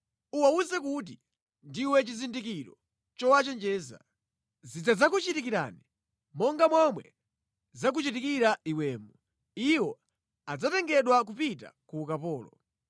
Uwawuze kuti, ‘Ndiwe chizindikiro chowachenjeza.’ “Zidzakuchitikirani monga momwe zakuchitikira iwemu. Iwo adzatengedwa kupita ku ukapolo.”